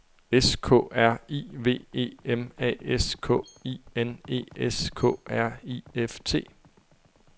S K R I V E M A S K I N E S K R I F T